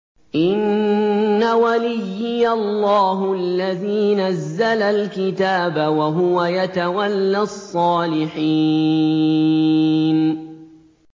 إِنَّ وَلِيِّيَ اللَّهُ الَّذِي نَزَّلَ الْكِتَابَ ۖ وَهُوَ يَتَوَلَّى الصَّالِحِينَ